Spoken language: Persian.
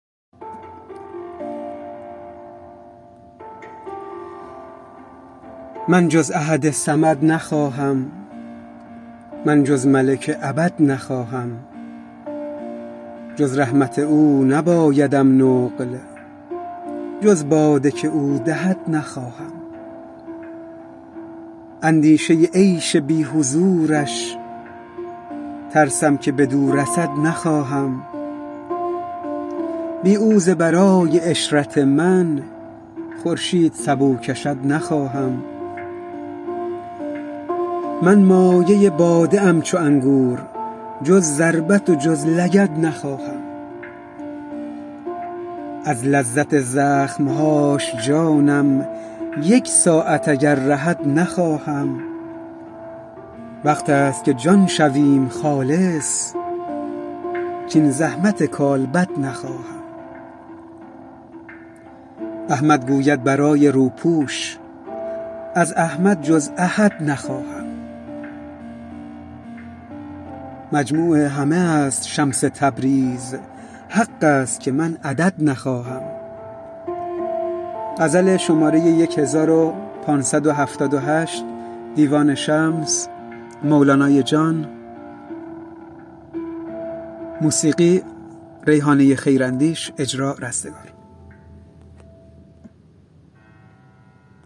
من جز احد صمد نخواهم من جز ملک ابد نخواهم جز رحمت او نبایدم نقل جز باده که او دهد نخواهم اندیشه عیش بی حضورش ترسم که بدو رسد نخواهم بی او ز برای عشرت من خورشید سبو کشد نخواهم من مایه باده ام چو انگور جز ضربت و جز لگد نخواهم از لذت زخم هاش جانم یک ساعت اگر رهد نخواهم وقت است که جان شویم خالص کاین زحمت کالبد نخواهم احمد گوید برای روپوش از احمد جز احد نخواهم مجموع همه است شمس تبریز حق است که من عدد نخواهم